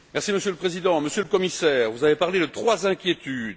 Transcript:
Monsieur le Président, Monsieur le Commissaire, vous avez parlé de trois inquiétudes.